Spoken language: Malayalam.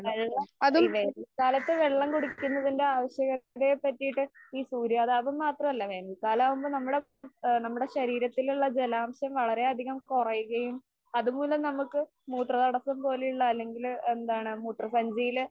ഈ വേനൽക്കാലത്ത് വെള്ളം കുടിക്കുന്നതിന്റെ ആവശ്യകതയെപ്പറ്റിയിട്ട് ഈ സൂര്യതാപം മാത്രമല്ല വേനൽക്കാലം ആവുമ്പൊ നമ്മടെ ആ നമ്മടെ ശരീരത്തിലുള്ള ജലാംശം വളരെ അധികം കുറയുകയും അതുമൂലം നമ്മക്ക് മൂത്രതടസ്സം പോലെയുള്ള അല്ലെങ്കില് എന്താണ് മൂത്രസഞ്ചിയില്